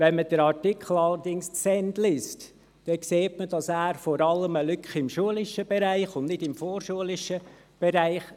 Liest man den Artikel zu Ende, stellt man fest, dass er vor allem im schulischen Bereich eine Lücke konstatiert und nicht im vorschulischen Bereich.